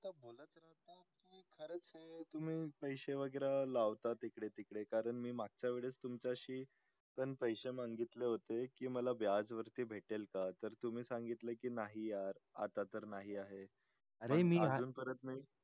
तुम्ही पसे वैगरे लावता इकडे तिकडे कारण मी मागच्या वर्षी तुमच्याशी पसे मागितले होतेय कि मला व्याज वरती भेटेल का तर तुम्ही सांगितले कि नाही यार आता तर नाही आहे अजून परत नाय